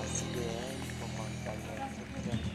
asikeyeny komok bany che kyome.